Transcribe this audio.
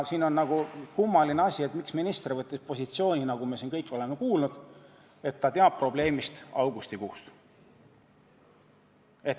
Siin on kummaline see, miks minister võttis positsiooni, nagu me siin kõik oleme kuulnud, et ta teab probleemist alates augustikuust.